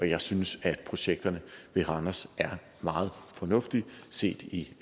jeg synes at projekterne ved randers er meget fornuftige set i